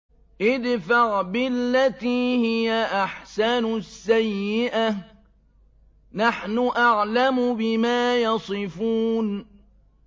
ادْفَعْ بِالَّتِي هِيَ أَحْسَنُ السَّيِّئَةَ ۚ نَحْنُ أَعْلَمُ بِمَا يَصِفُونَ